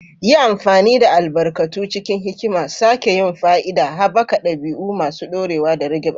Yi amfani da albarkatu cikin hikima, sake yin fa'ida, haɓaka ɗabi'u masu ɗorewa, da rage ɓarna.